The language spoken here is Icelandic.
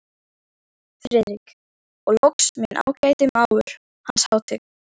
FRIÐRIK: Og loks minn ágæti mágur, Hans Hátign